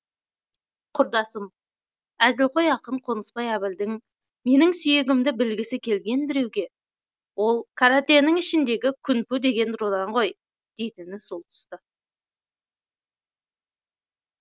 құрдасым әзілқой ақын қонысбай әбілдің менің сүйегімді білгісі келген біреуге ол каратэнің ішіндегі күнпу деген рудан ғой дейтіні сол тұста